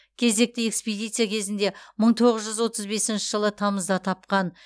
кезекті экспедиция кезінде мың тоғыз жүз отыз бесінші жылы тамызда тапқан